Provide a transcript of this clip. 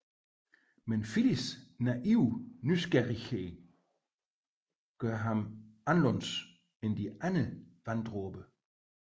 Men Phillys naive nysgerrighed gør ham anderledes end de andre vanddråber